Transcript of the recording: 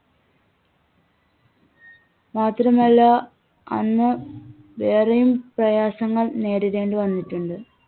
മാത്രമല്ല അന്ന് വേറെയും പ്രയാസങ്ങൾ നേരിടേണ്ടി വന്നിട്ടുണ്ട്.